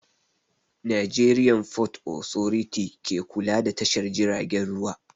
Nigerian fort authority ke kula da tashar jiragen ruwa